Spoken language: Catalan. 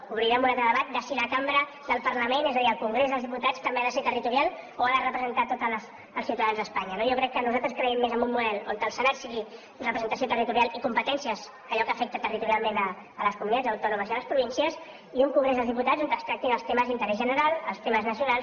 obrirem un altre debat de si la cambra del parlament és a dir el congrés dels diputats també ha de ser territorial o ha de representar tots els ciutadans d’espanya no jo crec nosaltres creiem més en un model on el senat sigui representació territorial i competències allò que afecta territorialment les comunitats autònomes i les províncies i un congrés dels diputats on es tractin els temes d’interès general els temes nacionals